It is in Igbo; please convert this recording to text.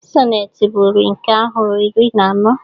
Sonnet bụ uri nke ahịrị iri na anọ